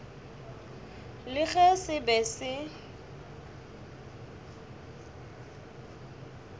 le ge se be se